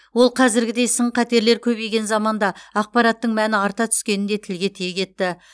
ол қазіргідей сын қатерлер көбейген заманда ақпараттың мәні арта түскенін де тілге тиек етті